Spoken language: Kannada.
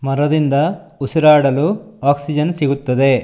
ಮರದಿಂದ ಉಸಿರಾಡಲು ಆಕ್ಕ್ಸಿಜೆನ್ ಸಿಗುತ್ತದೆ.